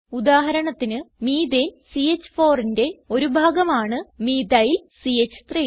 ഉദാഹരണത്തിന് മെത്തനെ CH4ന്റെ ഒരു ഭാഗം ആണ് മീഥൈൽ ച്ച്3